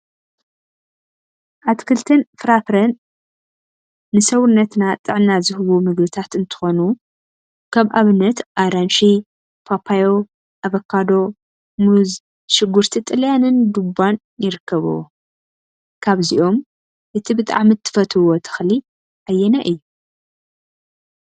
አትክልቲን ፍራፍረን አትክልቲን ፍራፍረን ንሰውነትና ጥዕና ዝህቡ ምግቢታት እንትኾኑ፤ ከም አብነት አራንሺ፣ ፓፓዮ፣ አቨጃዲ፣ ሙዝ፣ ሽጉርቲ ጥልያንን ዱባንይርከቡዎም፡፡ ካብዚኦም እቲ ብጣዕሚ ትፈትውዎ ተክሊ አየናይ እዩ?